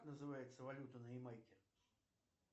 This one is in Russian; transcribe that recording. как называется валюта на ямайке